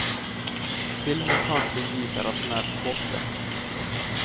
Filmens handling visar att hon är på botten.